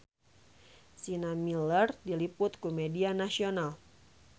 Sienna Miller diliput ku media nasional